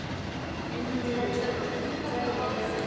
En hún þagði um það.